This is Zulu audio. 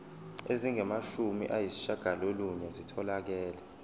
ezingamashumi ayishiyagalolunye zitholakele